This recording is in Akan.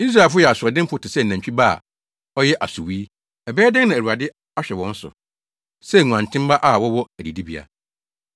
Israelfo yɛ asoɔdenfo te sɛ nantwi ba a ɔyɛ asowui ɛbɛyɛ dɛn na Awurade ahwɛ wɔn so sɛ nguantenmma a wɔwɔ adidibea?